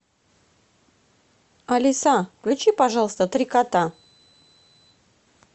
алиса включи пожалуйста три кота